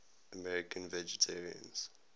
american vegetarians